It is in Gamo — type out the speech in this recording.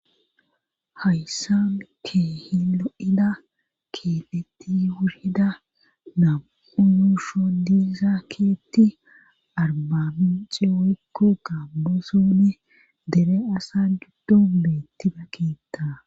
hayssan kehi lo7ida keemeti wurida namu7u yushon diiza keethi arbamiince woykko gamo zoone dere asa giddon beettida keetha